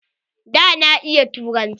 Ɗa na ya iya turanci.